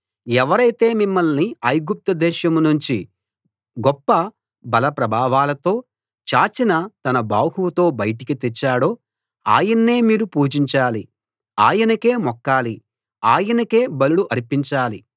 ఎవరైతే మిమ్మల్ని ఐగుప్తు దేశం నుంచి గొప్ప బలప్రభావాలతో చాచిన తన బహువుతో బయటికి తెచ్చాడో ఆయన్నే మీరు పూజించాలి ఆయనకే మొక్కాలి ఆయనకే బలులు అర్పించాలి